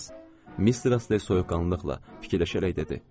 Mister Astley soyuqqanlılıqla fikirləşərək dedi.